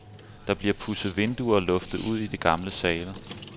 Der bliver pudset vinduer og luftet ud i de gamle sale.